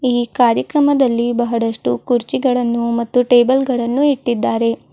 ಈ ಕಾರ್ಯಕ್ರಮದಲ್ಲಿ ಬಹಳಷ್ಟು ಕುರ್ಚಿಗಳನ್ನು ಮತ್ತು ಟೇಬಲ್ ಗಳನ್ನು ಇಟ್ಟಿದ್ದಾರೆ.